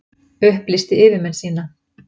Upplýsti yfirmenn sína